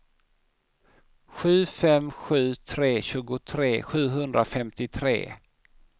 sju fem sju tre tjugotre sjuhundrafemtiotre